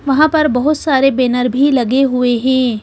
वहाँ पर बहुत सारे बैनर भी लगे हुए हैं।